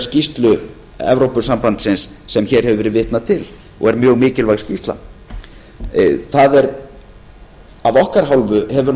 skýrslu evrópusambandsins sem hér hefur verið vitnað til og er mjög mikilvæg skýrsla af okkar hálfu hefur